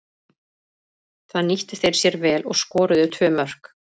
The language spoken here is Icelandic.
Það nýttu þeir sér vel og skoruðu tvö mörk.